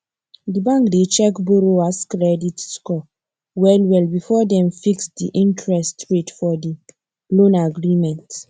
the bank dey check borrowers credit score well well before dem fix the interest rate for the loan agreement